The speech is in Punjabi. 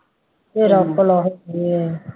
ਤੇਰਾ ਭਲਾ ਹੋ ਜਾਏ